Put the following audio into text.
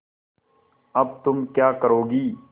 अब तुम क्या करोगी